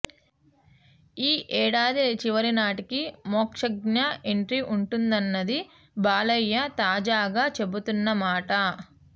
ఈ ఏడాది చివరినాటికి మోక్షజ్ఞ ఎంట్రీ వుంటుందన్నది బాలయ్య తాజాగా చెబుతున్న మాట